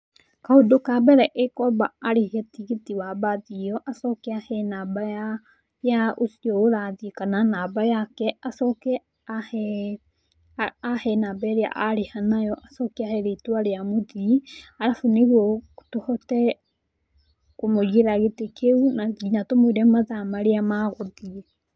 Kaũndũ ka mbere ĩkwamba arihe tigiti wa mbathi ĩyo, acoke ahe namba ya ũcio ũrathiĩ kana namba yake, acoke ahe namba ĩrĩa arĩha nayo, acoke ahe rĩtwa rĩa mũthii, arabu nĩguo tũhote kũmũigĩra gĩtĩ kĩu na nginya tũmũĩre mathaa marĩa magũthiĩ.